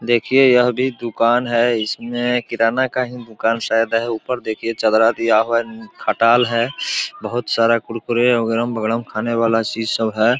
देखिये यह भी दूकान है। इसमें किराना का ही दूकान शायद है उपर देखिये चदरा दिया हुआ है खटाल है बहुत सारा कुरकुरे अगड़म-बगड़म खाने वाला चीज़ सब है।